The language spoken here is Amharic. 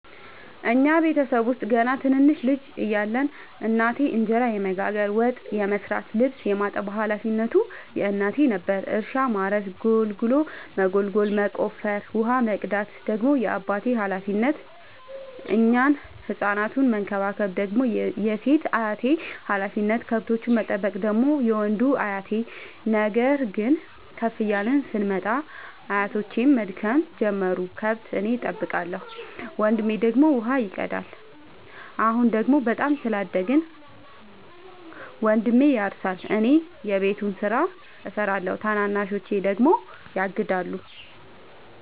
እኛ ቤተሰብ ውስጥ ገና ትንንሽ ልጅ እያለን እናቴ እንጀራ የመጋገር፤ ወጥ የመስራት ልብስ የማጠብ ሀላፊነቱ የእናቴ ነበረ። እርሻ ማረስ ጉልጎሎ መጎልጎል መቆፈር፣ ውሃ መቅዳት ደግሞ የአባቴ ሀላፊነት፤ እኛን ህፃናቱን መከባከብ ደግሞ የሴት አያቴ ሀላፊነት፣ ከብቶቹን መጠበቅ ደግሞ የወንዱ አያቴ። ነገር ግን ከፍ እያልን ስንመጣ አያቶቼም መድከም ጀመሩ ከብት እኔ ጠብቃለሁ። ወንድሜ ደግሞ ውሃ ይቀዳል። አሁን ደግሞ በጣም ስላደግን መንድሜ ያርሳ እኔ የቤቱን ስራ እሰራለሁ ታናናሾቼ ደግሞ ያግዳሉ።